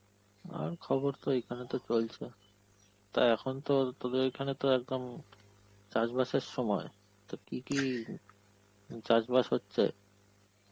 আর খবর তো এখানে তো চলছে. তা এখন তো তোদের ওখানে তো একদম চাষবাসের সময়, তো কি কি উম চাষবাস হচ্ছে?